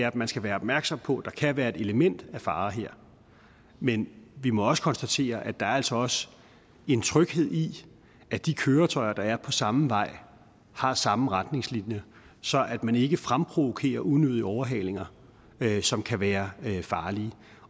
at man skal være opmærksom på at der kan være et element af fare her men vi må også konstatere at der altså også er en tryghed i at de køretøjer der er på samme vej har samme retningslinjer så man ikke fremprovokerer unødige overhalinger som kan være farlige